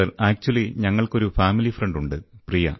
sir വാസ്തവത്തിൽ ഞങ്ങൾക്കൊരു കുടുംബ സുഹൃത്ത് ഉണ്ട്